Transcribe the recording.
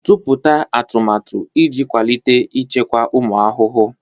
Tụpụta atụmatụ iji kwalite ichekwa ụmụ ahụhụ.